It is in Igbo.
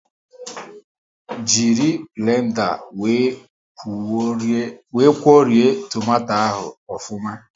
Jiri blenda wee kwuorie tomato ahụ ofuma